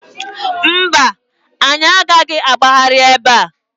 Mba, anyị agaghị agbagharị ebe a.